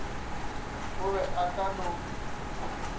o be a ka no